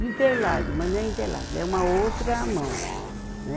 De Interlagos, mas não é Interlagos, é uma outra mão, né?